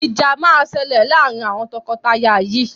Ìjà máa ṣẹlẹ̀ laarin awọn tọkọtaya yìí